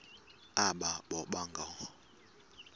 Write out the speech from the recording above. aba boba ngoo